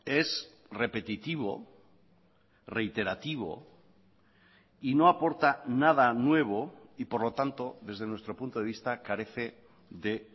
es repetitivo reiterativo y no aporta nada nuevo y por lo tanto desde nuestro punto de vista carece de